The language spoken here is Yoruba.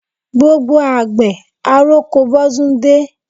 Gbogbo àgbẹ̀, àroko bọ́ dún dé.